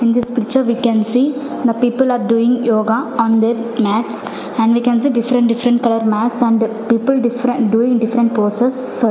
In this picture we can see the people are doing yoga on their mats and we can see different different color mats and people differen doing different poses so --